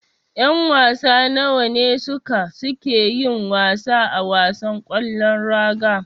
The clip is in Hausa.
Yan wasa nawa ne suka suke yin wasa a wasan ƙwallon raga.